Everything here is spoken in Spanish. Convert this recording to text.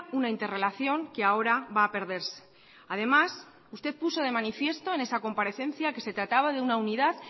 una interrelación que ahora va a perderse además usted puso de manifiesto en esa comparecencia que se trataba de una unidad